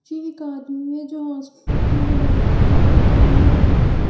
जी एक आदमी है जो हॉस्पिटल में बैठा हुआ है कॉरिडोर की में --